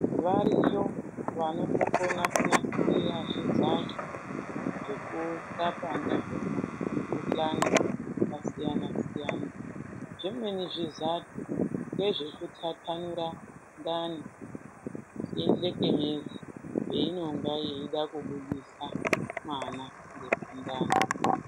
Variyo vanotokona kunasira zvizadhle zvekurapa ndizvona mikuhlani yakasiyana-siyana. Zvimweni zvizadhle ndezveku tatanura ndani yendlekenyezi peinonga yeida kubudisa mwana ngepandani.